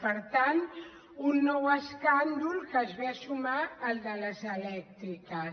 per tant un nou escàndol que se suma al de les elèctriques